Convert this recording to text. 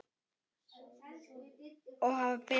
Og hafa betur.